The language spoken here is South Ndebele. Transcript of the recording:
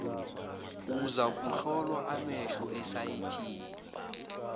uzakuhlolwa amehlo esayithini